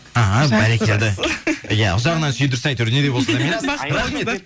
іхі бәрекелді иә ұзағынан сүйіндірсін әйтеуір не де болса да мирас рахмет